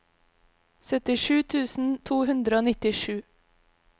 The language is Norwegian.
syttisju tusen to hundre og nittisju